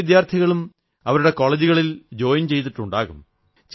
പല വിദ്യാർഥികളും അവരുടെ കോളജുകളിൽ ജോയിൻ ചെയ്തിട്ടുണ്ടാകും